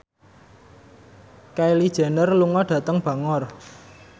Kylie Jenner lunga dhateng Bangor